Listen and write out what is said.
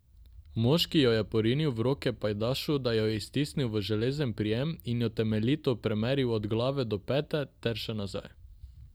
Moški jo je porinil v roke pajdašu, da jo je stisnil v železen prijem, in jo temeljito premeril od glave do peta ter še nazaj.